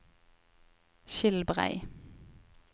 Skilbrei